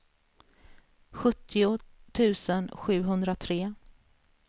sjuttio tusen sjuhundratre